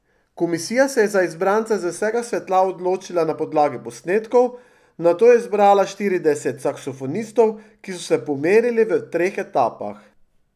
Komisija se je za izbrance z vsega sveta odločila na podlagi posnetkov, nato je izbrala štirideset saksofonistov, ki so se pomerili v treh etapah.